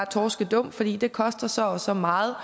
torskedum fordi det koster så og så meget